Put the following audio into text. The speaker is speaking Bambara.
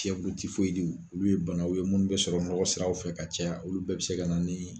Siku tɛ fiɛyu ti foyi di de olu ye banaw ye mu be sɔrɔ nɔgɔ siraw fɛ ka caya olu bɛɛ be se ka na nin